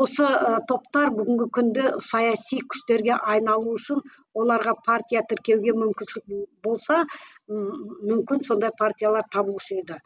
осы ы топтар бүгінгі күнде саяси күштерге айналу үшін оларға партия тіркеуге мүмкіншілік болса мүмкін сондай партиялар табылушы еді